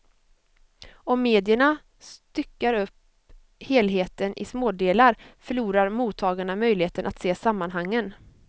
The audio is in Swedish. Om medierna styckar upp helheten i smådelar förlorar mottagarna möjligheten att se sammanhangen.